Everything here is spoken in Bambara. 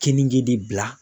Keninge de bila